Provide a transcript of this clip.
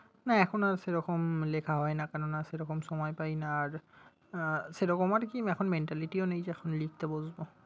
না এখন আর সেরকম লেখা হয় না। কেননা সেরকম সময় পাইনা আর আহ সেরকম আরকি এখন mentality ও নেই যে এখন লিখতে বসবো।